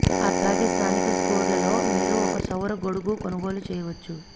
అలాగే స్థానిక స్టోర్లలో మీరు ఒక సౌర గొడుగు కొనుగోలు చేయవచ్చు